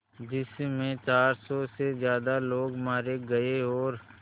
जिस में चार सौ से ज़्यादा लोग मारे गए और